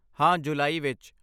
ਹਾਂ ਜੁਲਾਈ ਵਿੱਚ